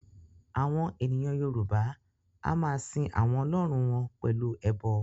Àwọn ènìyàn Yorùbá a máa sin àwọn Ọlọ́run wọn pẹ̀lú ẹbọ